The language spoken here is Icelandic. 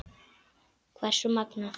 Hversu magnað!